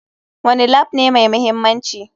Wane Lab ne mai mahimmanci?